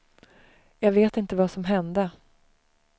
Jag vet inte vad som hände.